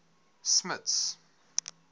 smuts